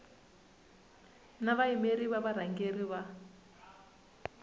na vayimeri va varhangeri va